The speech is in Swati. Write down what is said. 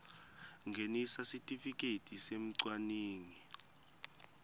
ngenisa sitifiketi semcwaningi